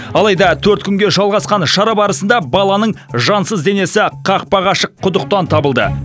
алайда төрт күнге жалғасқан шара барысында баланың жансыз денесі қақпағы ашық құдықтан табылды